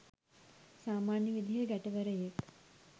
සාමන්‍ය විදිහේ ගැටවරයෙක්.